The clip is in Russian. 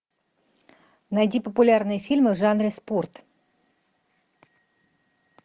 найди популярные фильмы в жанре спорт